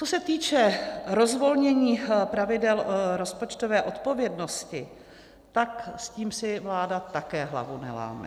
Co se týče rozvolnění pravidel rozpočtové odpovědnosti, tak s tím si vláda také hlavu neláme.